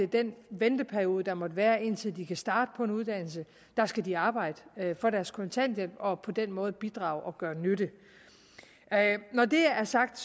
den venteperiode der måtte være indtil de kan starte på en uddannelse skal de arbejde for deres kontanthjælp og på den måde bidrage og gøre nytte når det er er sagt